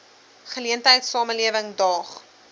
geleentheid samelewing daag